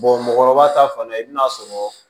mɔgɔkɔrɔba ta fana i bɛn'a sɔrɔ